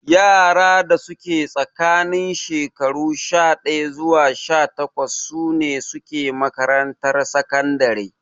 Yara da suke tsakanin shekaru sha ɗaya zuwa sha takwas sune suke makarantar sakandare